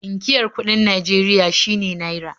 Inkiyar kuɗin Najeria shine "₦"